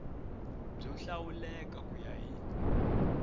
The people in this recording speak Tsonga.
byo hlawuleka ku ya hi